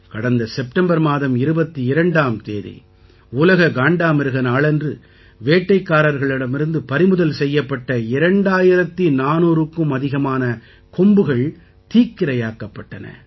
கடந்த செப்டம்பர் மாதம் 22ஆம் தேதி உலக காண்டாமிருக நாளன்று வேட்டைக்காரர்களிடமிருந்து பறிமுதல் செய்யப்பட்ட 2400க்கும் அதிகமான கொம்புகள் தீக்கிரையாக்கப்பட்டன